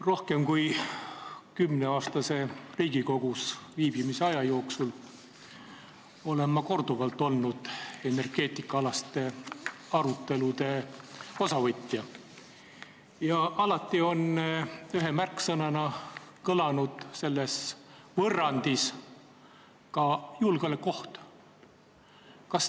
Rohkem kui kümneaastase Riigikogus viibimise aja jooksul olen ma korduvalt võtnud osa energeetikaalastest aruteludest ja alati on ühe märksõnana kõlanud selles võrrandis ka julgeolekuoht.